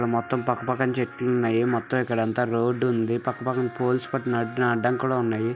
ఇక్కడ మొత్తం పక్క పక్కన చెట్లు ఉన్నాయి. మొత్తం ఇక్కడ అంతా రోడ్ ఉంది. పక్క పక్కన పోల్స్ పట్టుకొని కూడా ఉన్నాయి.